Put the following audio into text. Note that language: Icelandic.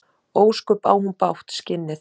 Ósköp á hún bágt, skinnið.